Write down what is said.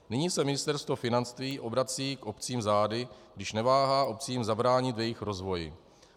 Nyní se Ministerstvo financí obrací k obcím zády, když neváhá obcím zabránit v jejich rozvoji.